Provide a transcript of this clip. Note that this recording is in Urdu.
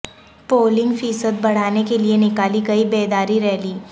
پولنگ فیصد بڑھانے کے لئے نکالی گئی بیداری ریلی